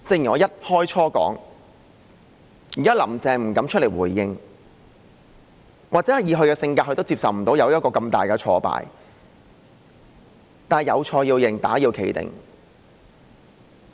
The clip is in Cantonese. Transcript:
現時"林鄭"不敢出來回應，或許以她的性格，無法接受一個這麼大的挫敗，但"有錯要認，打要企定"。